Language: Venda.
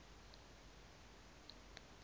dz a u pfukiwa ha